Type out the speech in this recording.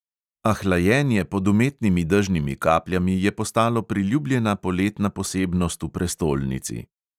A hlajenje pod umetnimi dežnimi kapljami je postalo priljubljena poletna posebnost v prestolnici.